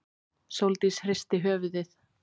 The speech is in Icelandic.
Sóldís hristi höfuðið.